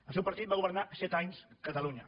el seu partit va governar set anys catalunya